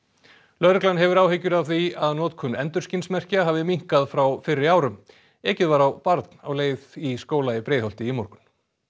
lögreglan hefur áhyggjur af því að notkun endurskinsmerkja hafi minnkað frá fyrri árum ekið var á barn á leið í skóla í Breiðholti í morgun